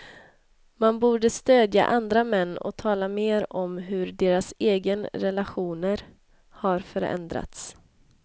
Man borde stödja andra män och tala mer om hur deras egen relationer har förändrats.